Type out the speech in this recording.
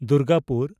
Durgapur